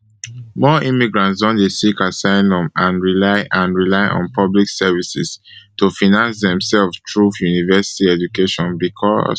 more immigrants don dey seek asylum and rely and rely on public services to finance demselves through university education becos